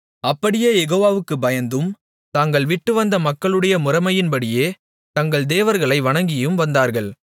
அப்படியே யெகோவாவுக்குப் பயந்தும் தாங்கள் விட்டுவந்த மக்களுடைய முறைமையின்படியே தங்கள் தேவர்களை வணங்கியும் வந்தார்கள்